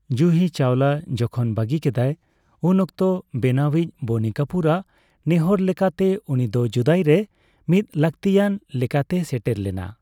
ᱡᱩᱦᱤ ᱪᱟᱣᱞᱟ ᱡᱮᱠᱷᱚᱱ ᱵᱟᱹᱜᱤ ᱠᱮᱫᱟᱭ ᱩᱱ ᱚᱠᱛᱚ ᱵᱮᱱᱟᱣᱤᱡ ᱵᱚᱱᱤ ᱠᱟᱯᱩᱨ ᱟᱜ ᱱᱮᱦᱚᱨ ᱞᱮᱠᱟᱛᱮ ᱩᱱᱤ ᱫᱚ ᱡᱩᱫᱟᱭ ᱨᱮ ᱢᱤᱫ ᱞᱟᱹᱠᱛᱤᱭᱟᱱ ᱞᱮᱠᱟᱛᱮᱭ ᱥᱮᱴᱮᱨ ᱞᱮᱱᱟ ᱾